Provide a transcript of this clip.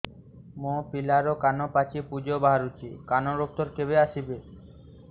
ମୋ ପିଲାର କାନ ପାଚି ପୂଜ ବାହାରୁଚି କାନ ଡକ୍ଟର କେବେ ଆସିବେ